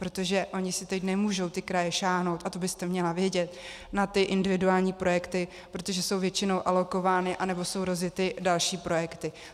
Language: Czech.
Protože ony si teď nemůžou ty kraje sáhnout, a to byste měla vědět, na ty individuální projekty, protože jsou většinou alokovány, anebo jsou rozjety další projekty.